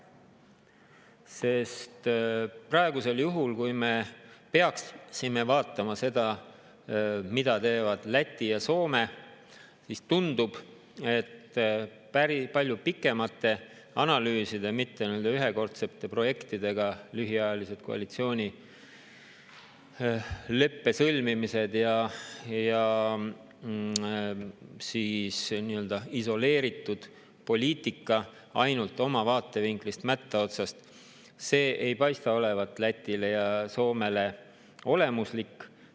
Sest praegusel juhul, kui me peaksime vaatama seda, mida teevad Läti ja Soome, siis tundub, et päris palju pikemate analüüside tegemine, mitte ühekordsete projektidega lühiajalised koalitsioonileppe sõlmimised ja siis nii-öelda isoleeritud poliitika, ainult oma vaatevinklist, oma mätta otsast, ei paista olevat Lätile ja Soomele olemuslik.